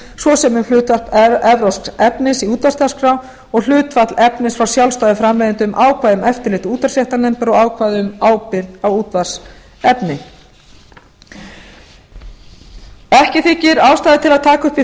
svo sem um hluta erlends efnis í útvarpsdagskrá og hlutfall efnis frá sjálfstæðum framleiðendum ákvæði um eftirlit útvarpsréttarnefndar og ákvæði um ábyrgð á útvarpsefni ekki þykir ástæða til að taka upp